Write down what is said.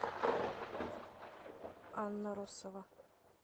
анна россова